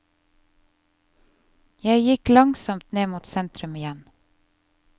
Jeg gikk langsomt ned mot sentrum igjen.